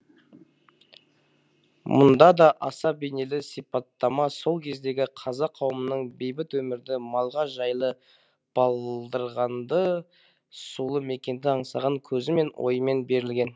мұнда да аса бейнелі сипаттама сол кездегі қазақ қауымының бейбіт өмірді малға жайлы балдырғанды сулы мекенді аңсаған көзімен ойымен берілген